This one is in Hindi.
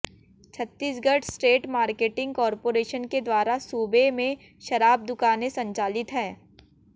छत्तीसगढ़ स्टेट मार्केटिंग कार्पाेरेशन के द्वारा सूबे में शराब दुकानें संचालित है